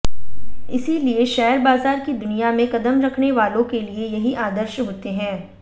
इसीलिए शेयर बाजार की दुनिया में कदम रखने वालों के लिए यही आदर्श होते हैं